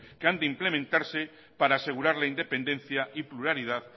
que han de implementarse para asegurar la independencia y pluralidad